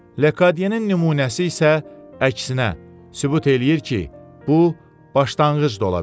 Lekadyenin nümunəsi isə əksinə, sübut eləyir ki, bu başlanğıc da ola bilər.